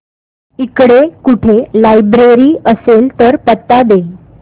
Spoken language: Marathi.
इकडे कुठे लायब्रेरी असेल तर पत्ता दे